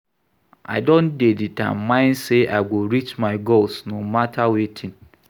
I don dey determined sey I go reach my goals no mata wetin.